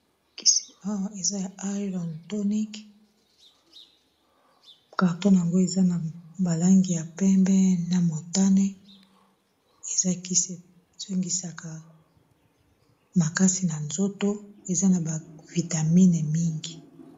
makisiar eza ya irontonic carton yango eza na balangi ya pembe na montane ezakisesongisaka makasi na nzoto eza na bavitamine mingi